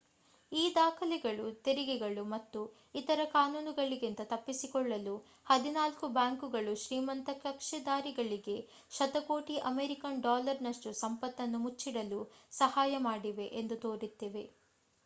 ಈ ದಾಖಲೆಗಳು ತೆರಿಗೆಗಳು ಮತ್ತು ಇತರ ಕಾನೂನುಗಳಿಂದ ತಪ್ಪಿಸಿಕೊಳ್ಳಲು ಹದಿನಾಲ್ಕು ಬ್ಯಾಂಕುಗಳು ಶ್ರೀಮಂತ ಕಕ್ಷಿದಾರರಿಗೆ ಶತಕೋಟಿ ಅಮೇರಿಕನ್ ಡಾಲರ್ ನಷ್ಟು ಸಂಪತ್ತನ್ನು ಮುಚ್ಚಿಡಲು ಸಹಾಯ ಮಾಡಿವೆ ಎಂದು ತೋರಿಸುತ್ತಿವೆ